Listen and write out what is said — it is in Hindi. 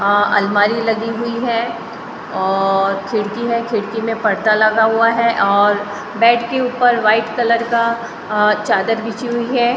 अ अलमारी लगी हुई है और खिड़की है खिड़की में पड़दा लगा हुआ है और बेड के ऊपर व्हाइट कलर का अ चादर बिछी हुई है।